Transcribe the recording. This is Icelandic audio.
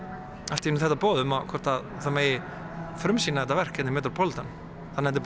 allt í einu þetta boð um hvort það megi frumsýna þetta verk hér í metropolitan það er